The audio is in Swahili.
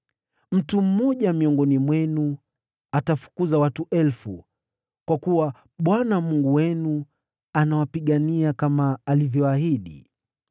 Mtu mmoja miongoni mwenu anafukuza watu elfu, kwa kuwa Bwana Mungu wenu anawapigania, kama alivyoahidi.